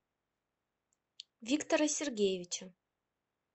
виктора сергеевича